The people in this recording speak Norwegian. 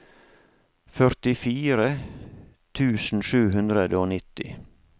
førtifire tusen sju hundre og nitti